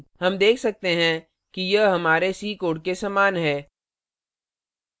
हम देख सकते हैं कि यह हमारे c code के समान है